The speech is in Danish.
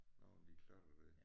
Nogle af de klatter der